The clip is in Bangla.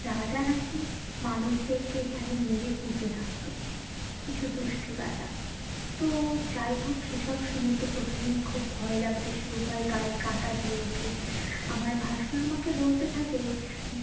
নাকি মানুষদের কে এখানে মেরে পুঁতে রাখতো কিছু দুষ্ট রাজা তো যাই হোক সে সব শুনে তো প্রথমেই খুব ভয় লাগতে শুরু হয় গায়ে কাঁটা দিয়ে ওঠে আমার ভাসুর আমাকে বলতে থাকে